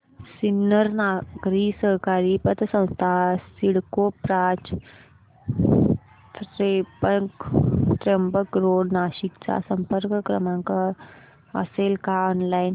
सिन्नर नागरी सहकारी पतसंस्था CIDCO branch Trimbak road Nashik चा संपर्क क्रमांक असेल का ऑनलाइन